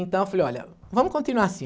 Então eu falei, olha, vamos continuar assim.